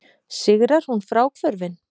Sigrar hún fráhvörfin?